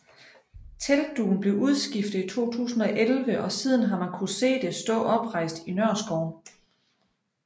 Teltdugen blev udskiftet i 2011 og siden har man kunne se det stå oprejst i Nørreskoven